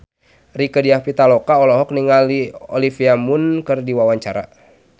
Rieke Diah Pitaloka olohok ningali Olivia Munn keur diwawancara